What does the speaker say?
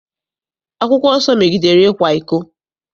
Akwụkwọ nsọ megidere ịkwa iko.